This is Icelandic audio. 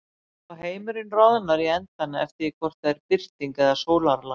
Og heimurinn roðnar í endana eftir því hvort er birting eða sólarlag.